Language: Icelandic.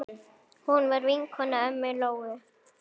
Hún var vinkona ömmu Lóu.